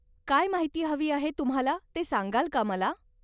काय माहिती हवी आहे तुम्हाला ते सांगाल का मला.